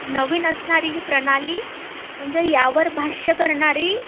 नवीन असणारी ही प्रणाली, म्हणजे यावर भाष्य करणारी